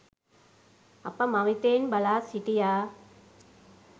අප මවිතයෙන් බලා සිටියා